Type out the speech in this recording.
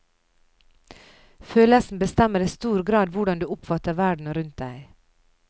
Følelsene bestemmer i stor grad hvordan du oppfatter verden rundt deg.